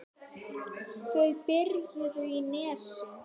Þau bjuggu í Nesi.